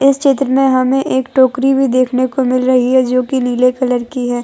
इस चित्र में हमें एक टोकरी भी देखने को मिल रही है जोकि नीले कलर की है।